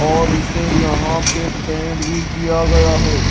और इसे यहां पे पेंट भी किया गया है।